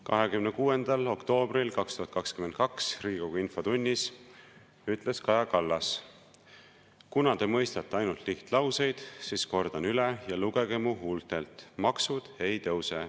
26. oktoobril 2022 Riigikogu infotunnis ütles Kaja Kallas: "Kuna te mõistate ainult lihtlauseid, siis kordan üle ja lugege mu huultelt: maksud ei tõuse.